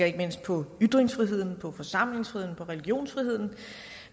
ikke mindst på ytringsfriheden på forsamlingsfriheden på religionsfriheden